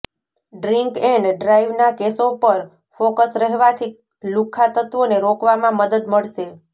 drink and ડ્રાઈવના કેસો પર ફોકસ રહેવાથી લુખ્ખા તત્વોને રોકવામાં મદદ મળશે